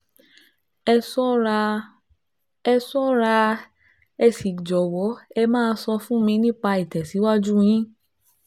Ẹ ṣọ́ra, Ẹ ṣọ́ra, ẹ sì jọ̀wọ́ ẹ máa sọ fún mi nípa ìtẹ̀síwájú yín